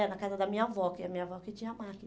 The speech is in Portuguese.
É, na casa da minha avó, que a minha avó tinha máquina.